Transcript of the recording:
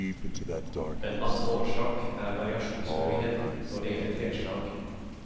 En annen årsak er variasjonsmuligheten når det gjelder treslag.